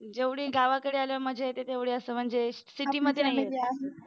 जेवढी गावाकडे आल्यावर मजा येते तेवढे असं म्हणजे city मध्ये नाही येत.